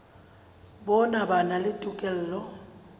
bona ba na le tokelo